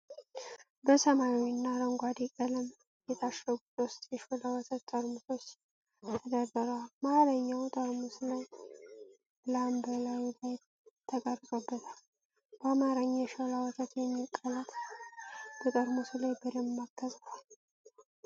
በሰማያዊና አረንጓዴ ቀለም የታሸጉ ሦስት የሾላ ወተት ጠርሙሶች ተደርድረዋል። መሃለኛው ጠርሙስ ላም በላዩ ላይ ተቀርጾበታል። በአማርኛ "የሾላ ወተት" የሚሉ ቃላት በጠርሙሱ ላይ በደማቅ ተጽፈዋል።